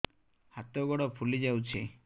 ହାତ ଗୋଡ଼ ଫୁଲି ଯାଉଛି